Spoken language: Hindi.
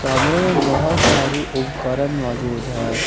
सामने बहुत सारी उपकरण मौजूद हैं।